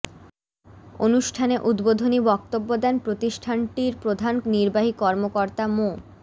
অনুষ্ঠানে উদ্বোধনী বক্তব্য দেন প্রতিষ্ঠানটির প্রধান নির্বাহী কর্মকর্তা মো